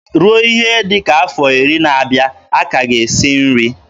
Ruo ihe dị ka afọ iri na-abịa, a ka ga esi nri.